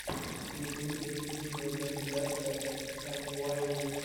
в ютюбе видеокомпиляция эмуайи